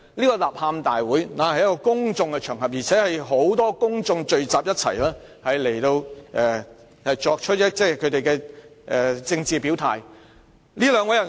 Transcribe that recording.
該吶喊大會在公眾場所舉行，有很多公眾人士聚集作政治表態。